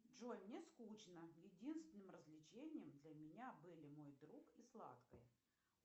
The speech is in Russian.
джой мне скучно единственным развлечением для меня были мой друг и сладкое